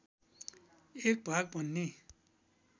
एक भाग भन्ने